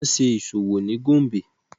Wọn ṣe iṣowo ni Gombe